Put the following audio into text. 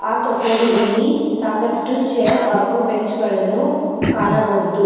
ಆ ಕೊಠಡಿಯಲ್ಲಿ ಸಾಕಷ್ಟು ಚೇರ್ ಹಾಗು ಬೆಂಚ್ ಗಳನ್ನು ಕಾಣಬಹುದು.